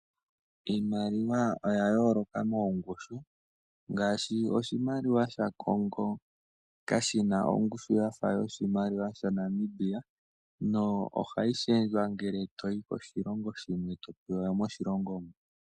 Iimaliwa oya yooloka moongushu ngaashi oshimaliwa sha Congo kashina ongushu yafa yoshimaliwa shaNamibia na ohayi shendjwa ngele etoyi koshilongo shimwe eto pewa yomoshilongo shoka toyi.